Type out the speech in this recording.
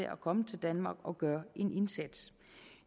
at komme til danmark og gøre en indsats